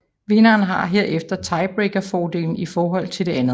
Vinderen har herefter tiebreakerfordelen i forhold til det andet